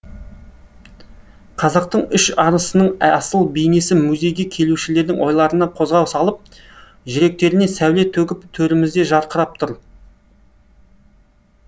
қазақтың үш арысының асыл бейнесі музейге келушілердің ойларына қозғау салып жүректеріне сәуле төгіп төрімізде жарқырап тұр